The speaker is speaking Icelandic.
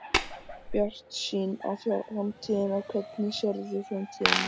Bjartsýn á framtíðina Hvernig sérðu framtíðina?